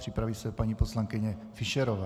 Připraví se paní poslankyně Fischerová.